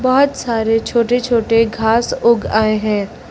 बहुत सारे छोटे छोटे घास उग आए हैं।